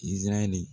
Izarahɛli